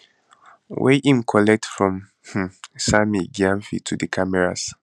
wey im collect from um sammy gyamfi to di cameras